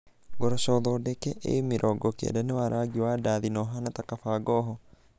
Ngoroco thondeke A90 nĩ wa rangi wa ndathi na ũhaana ta kabangoho.